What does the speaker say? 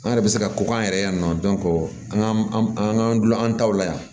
An yɛrɛ bɛ se ka ko k'an yɛrɛ yan nɔ an ka an k'an dulon an taw la yan